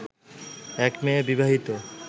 এক মেয়ে বিবাহিত